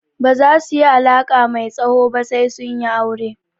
Baza su yi alaƙa mai tsawo ba sai su yi aure.